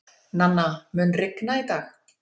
Nanna, mun rigna í dag?